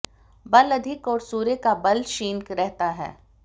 बल अधिक और सूर्य का बल क्षीण रहता है